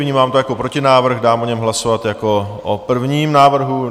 Vnímám to jako protinávrh, dám o něm hlasovat jako o prvním návrhu.